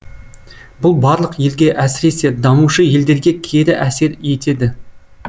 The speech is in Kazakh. бұл барлық елге әсіресе дамушы елдерге кері әсер етеді